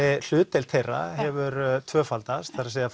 hlutdeild þeirra í hefur tvöfaldast það er